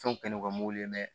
Fɛnw kɛ no ka mobili mɛn